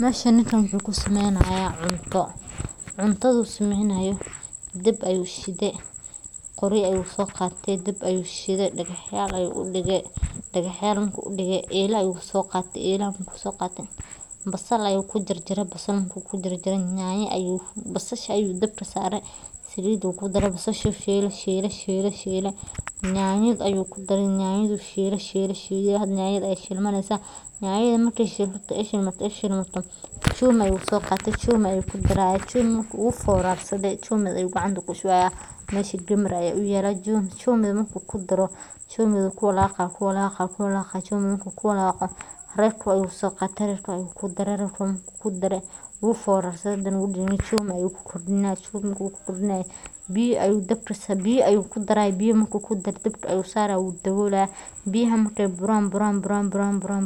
Meshan ninkan wuxu kusameynaya cunto, cuntadu sameynayo dab ayushite, qoryo ayusoqate dab ayushite dagaxyal ayu udige, dagaxyal marku udige eelaxa ayusoqate ,eelaxa markusoqate basal ayu kujarjare, basal marku kujarjare ,basasha ayu dabka sare saliid ukudare basashu shiile ,shiile ,shiile nyanya ayu kudare nyanya du shiile, shiile, shiilemarka nyanya aya shilmaneysa nyanya markay shilmato ee ay shilmato chumvi ayu soqate chumvi ayu kudaraya chumvi marku uforarsade chumvi ayu gacanta kushubaya, mesha gambar aya uyala chumvi marku kudaro chumvi ayu kuwalaqa ,marku kuwalaqo royco ayusoqate royco ayu kudaraya markukudare uforarsade hadane udadamiye chumvi ayu kukordinaya chumvi marku kukordinayo biya ayu dabka sare ,biya ayu kudaraya, biya marku kudare dabka ayu sare dabka marku sare udabolaya, biyaxa markay buran,